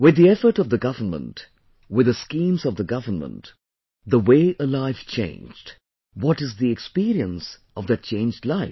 With the efforts of the government, with the schemes of the government, the way a life changed... what is the experience of that changed life